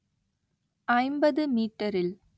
ஐம்பது மீட்டரில்